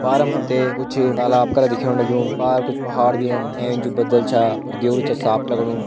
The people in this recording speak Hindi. पार में हम्थे कुछ तालाब का दिख्याणु लग्यूं पार कुछ पहाड़ भी छन ऐंच बदल च और देवरु च साफ़ लगणू।